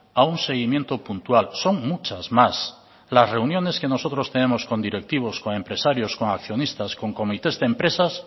a un seguimiento puntual son muchas más las reuniones que nosotros tenemos con directivos con empresarios con accionistas con comités de empresas